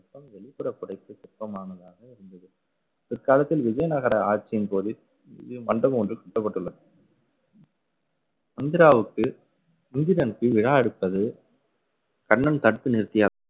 இந்த சிற்பம் வெளிப்புற சிற்பமானதாக இருந்தது. பிற்காலத்தில் விஜயநகர ஆட்சியின்போது மண்டபம் ஒன்று கட்டப்பட்டுள்ளது இந்திராவுக்கு முகிலனுக்கு விழா எடுப்பது கண்ணன் தடுத்து நிறுத்திய